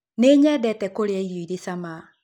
Nĩnyendete kũrĩa irio irĩ cama.